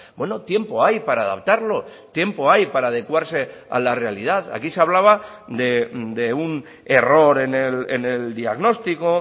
bueno tiempo hay para adaptarlo tiempo hay para adecuarse a la realidad aquí se hablaba de un error en el diagnóstico